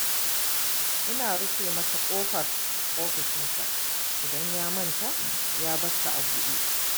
Ina rufe masa ƙofar ofishinsa, idan ya manta, ya bar ta a buɗe.